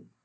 ആണ്